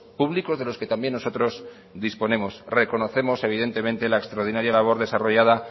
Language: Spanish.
públicos de los que también nosotros disponemos reconocemos evidentemente la extraordinaria labor desarrolladas